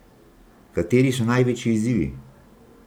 Kateri so največji izzivi?